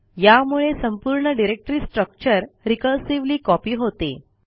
यामुळे संपूर्ण directory structure recursively copy होते